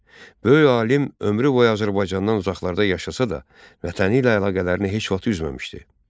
Böyük alim ömrü boyu Azərbaycandan uzaqlarda yaşasa da, vətəni ilə əlaqələrini heç vaxt üzməmişdi.